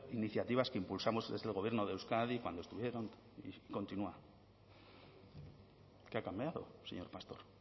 iniciativas que impulsamos desde el gobierno de euskadi cuando estuvieron continúa qué ha cambiado señor pastor